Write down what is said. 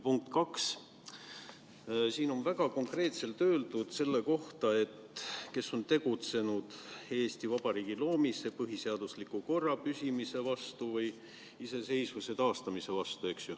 Punkt kaks, siin on väga konkreetselt öeldud: kes on tegutsenud Eesti Vabariigi loomise, põhiseadusliku korra püsimise või Eesti iseseisvuse taastamise vastu.